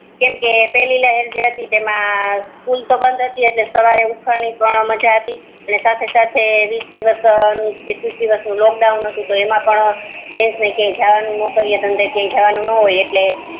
કેમકે પેલી લહેર જે હતી એમા સ્કૂલ બંધ હતી એટલે મોડા સુધી ઊંઘવાની મજા હતી અને સાથે સાથે એકવીસ દિવસ નું લોકડાઉન હતુ તો એમ પણ જેન્ટસ ને કોઈ નોકરે ધંધે જવાનું નો હોય એટલે